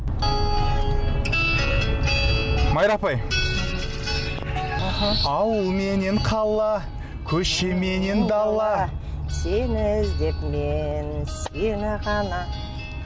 майра апай аха ауыл менен қала көше менен дала сені іздеп мен сені ғана